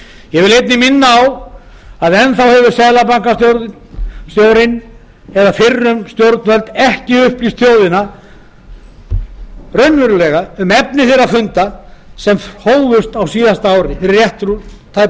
ég vil einnig minna á að enn þá hefur seðlabankastjórinn eða fyrrum stjórnvöld ekki upplýst þjóðina um raunverulegt efni þeirra funda sem hófust fyrir